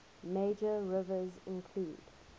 major rivers include